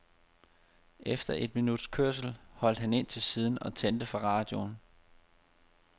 Efter et minuts kørsel holdt han ind til siden og tændte for radioen.